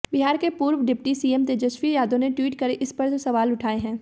बिहार के पूर्व deputy CM Tejashwi Yadav ने ट्वीट कर इस पर सवाल उठाए हैं